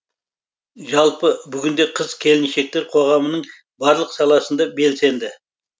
жалпы бүгінде қыз келіншектер қоғамның барлық саласында белсенді